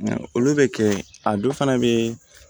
Olu bɛ kɛ a dɔ fana bɛ